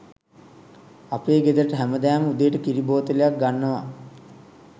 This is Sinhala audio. අපේ ගෙදරට හැමදාම උදේට කිරි බෝතලයක් ගන්නව